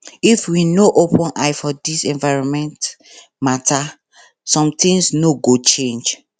if we no open eye for dis environment mata sometins no go change